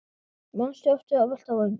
Manstu eftir að velta vöngum?